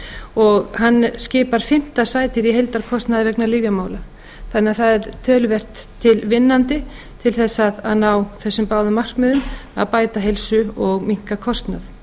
og hann skipar fimmta sætið í heildarkostnaði vegna lyfjamála þannig að það er töluvert tilvinnandi til að ná þessum báðum markmiðum að bæta heilsu og minnka kostnað